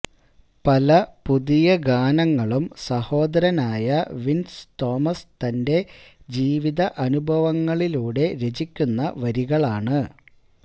പല പുതിയ ഗാനങ്ങളും സഹോദരൻ ആയ വിൻസ് തോമസ് തന്റെ ജീവിത അനുഭവങ്ങളിലൂടെ രചിക്കുന്ന വരികളാണ്